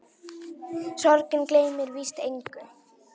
Sorgin gleymir víst engum.